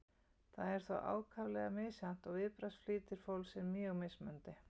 þetta er þó ákaflega misjafnt og viðbragðsflýtir fólks er mjög mismunandi